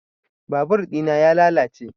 Babur ɗina ya lalace